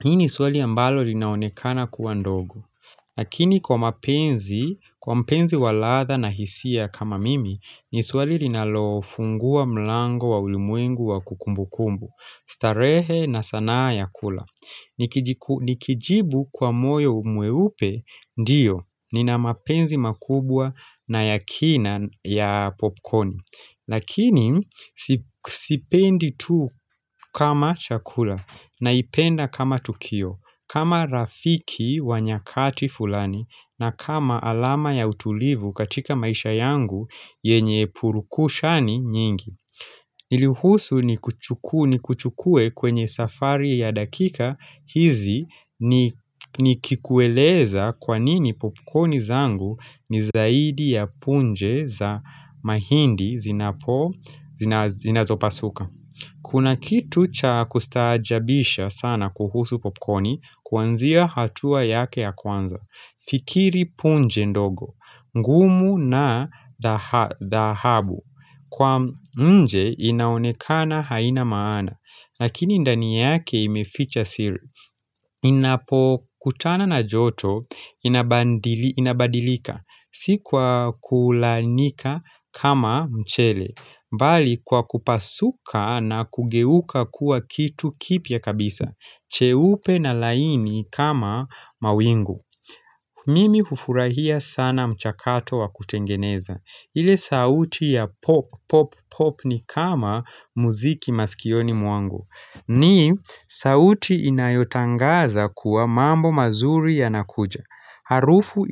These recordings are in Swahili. Hii ni swali ambalo linaonekana kuwa ndogo. Lakini kwa mapenzi, kwa mpenzi waladha na hisia kama mimi, ni swali linalofungua mlango wa ulimwengu wa kukumbukumbu, starehe na sanaa ya kula. Nikijibu kwa moyo mwe upe, ndiyo, nina mapenzi makubwa na yakina ya popcorni Lakini sipendi tu kama chakula na ipenda kama tukio kama rafiki wanyakati fulani na kama alama ya utulivu katika maisha yangu yenye purukushani nyingi Niluhusu ni kuchukue kwenye safari ya dakika hizi ni kikueleza kwanini popcorni zangu ni zaidi ya punje za mahindi zinazo pasuka. Kuna kitu cha kustaajabisha sana kuhusu popcorni kuanzia hatua yake ya kwanza, fikiri punje ndogo, ngumu na dhahabu, kwa nje inaonekana haina maana, lakini ndani yake imeficha siri. Inapo kutana na joto, inabadilika, sikwa kulaanika kama mchele, bali kwa kupasuka na kugeuka kuwa kitu kipia kabisa, cheupe na laini kama mawingu Mimi hufurahia sana mchakato wa kutengeneza ile sauti ya pop pop pop ni kama muziki maskioni mwangu ni sauti inayotangaza kuwa mambo mazuri ya nakuja Harufu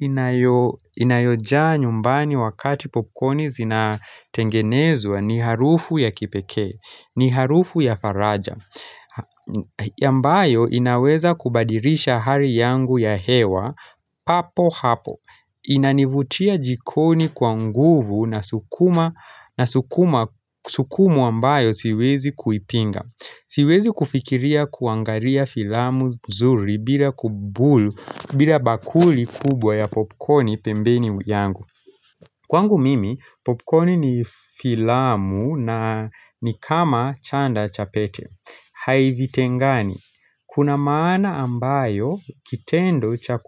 inayojaa nyumbani wakati popcorni zinatengenezwa ni harufu ya kipekee ni harufu ya faraja ambayo inaweza kubadirisha hali yangu ya hewa papo hapo Inanivutia jikoni kwa nguvu na sukumwa ambayo siwezi kuipinga Siwezi kufikiria kuangalia filamu nzuri bila kubulu bila bakuli kubwa ya popcorni pembeni yangu Kwangu mimi, popcorni ni filamu na nikama chanda chapete Havite ngani, kuna maana ambayo kitendo cha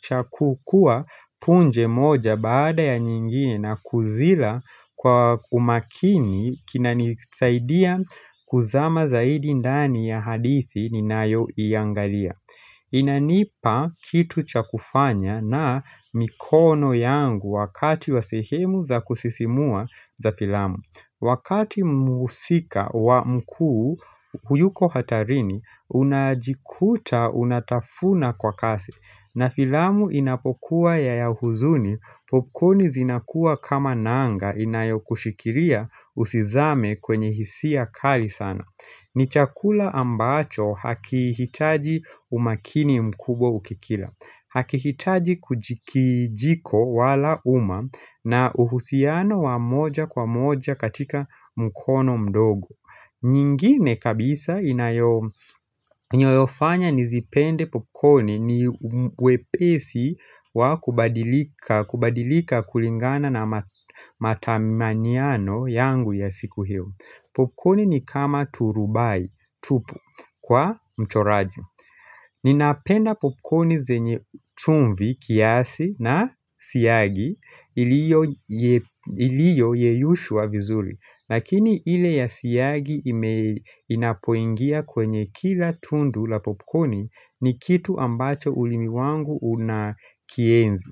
chakukua punje moja baada ya nyingine na kuzila kwa umakini kina nisaidia kuzama zaidi ndani ya hadithi ni nayo iangalia Inanipa kitu chakufanya na mikono yangu wakati wasehemu za kusisimua za filamu Wakati muusika wa mkuu huyuko hatarini, unajikuta unatafuna kwa kasi. Na filamu inapokuwa ya ya huzuni, popcorn zinakuwa kama nanga inayo kushikiria usizame kwenye hisia kali sana. Ni chakula ambacho hakihitaji umakini mkubwa ukikila. Hakikitaji kijiko wala uma na uhusiano wa moja kwa moja katika mkono mdogo nyingine kabisa inayofanya nizipende popcorni ni wepesi wa kubadilika kulingana na matamaniano yangu ya siku hio Popcorni ni kama turubai tupu kwa mchoraji Ninapenda popcorni zenye chumvi kiasi na siyagi iliyo yeyushwa vizuri. Lakini ile ya siyagi inapoingia kwenye kila tundu la popcorni ni kitu ambacho ulimiwangu unakienzi.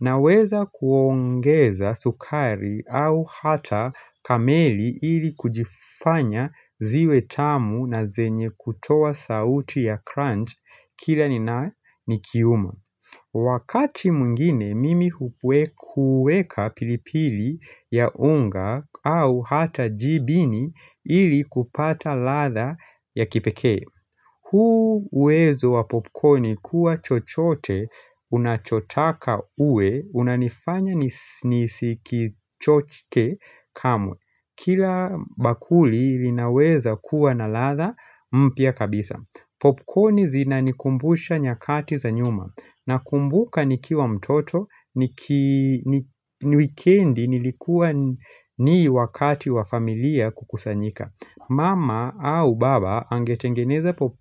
Na weza kuongeza sukari au hata kameli ili kujifanya ziwe tamu na zenye kutowa sauti ya crunch kila ni na nikiuma. Wakati mwingine mimi hueka pilipili ya unga au hata jibini ili kupata latha ya kipeke. Huuwezo wa popcorni kuwa chochote, unachotaka uwe, unanifanya nisi kichochke kamwe. Kila bakuli linaweza kuwa na latha mpya kabisa. Popcorni zina nikumbusha nyakati za nyuma. Nakumbuka niki wa mtoto, ni wikendi nilikuwa ni wakati wa familia kukusanyika. Mama au baba angetengeneze pop.